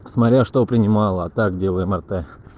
смотря что принимала а так делаем мрт